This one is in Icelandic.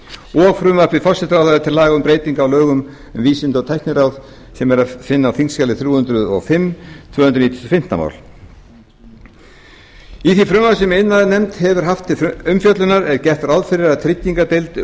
og frumvarpi forsætisráðherra til laga um breytingu á lögum um vísinda og tækniráð sem er að finna á þingskjali þrjú hundruð og fimm tvö hundruð níutíu og fimm mál í því frumvarpi sem iðnaðarnefnd hefur haft til umfjöllunar er gert ráð fyrir að tryggingardeild